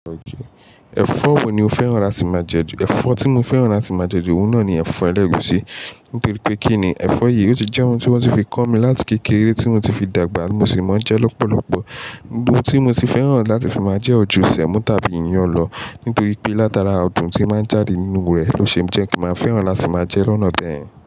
Ẹ̀fọ́ wo ni o fẹ́ràn láti máa jẹ ju? Ẹ̀fọ́ tí mo fẹ́ràn láti máa jẹ ju, òun náà ni ẹ̀fọ́ ẹlẹ́gusi, nítorí pé kí ni, ẹ̀fọ́ yìí ó ti jẹ́ ohun tí wọ́n ti fi kọ́ mi láti kékeré tí mo ti fi dàgbà, mo sì máa ń jẹ lọ́pọ̀lọ́pọ̀. Gbogbo ohun tí mo ti fẹ́ràn láti fi máa jẹ oju semo tabi iyan lọ. Nítorí pé látara adùn tí máa ń jáde nínú rẹ̀ ló ṣe ń jẹ́ kí n máa fẹ́ràn láti máa jẹ lọ́nà bẹẹ yen.